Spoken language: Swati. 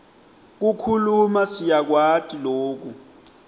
kukhuluma siyakwati loku